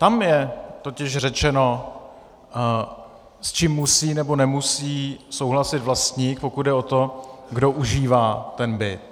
Tam je totiž řečeno, s čím musí nebo nemusí souhlasit vlastník, pokud jde o to, kdo užívá ten byt.